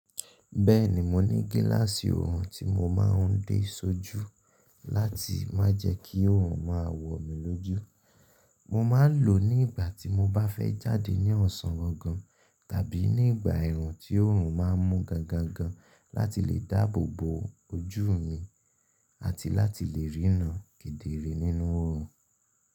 Bẹ́ẹ̀ni, mo ní gíláàsì oorun tí mo máa ń dé sójú láti má jẹ kí oorun máa wọ mi lójú. Mo máa ń lò ó ní ìgbà tí mo bá fẹ́ jáde ní ọ̀sán gangan tàbí ní ìgbà ẹ̀rùn tí oorun máa n mú gan gan gan láti lè dáàbò bo ojú mi àti láti lè rínà kederee nínú oorun.